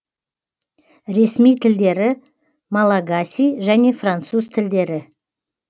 ресми тілдері малагасий және француз тілдері